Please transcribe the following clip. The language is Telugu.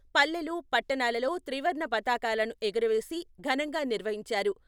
పల్లెలు, పట్టణాలలో త్రివర్ణ పతాకాలను ఎగురవేసి ఘనంగా నిర్వహించారు.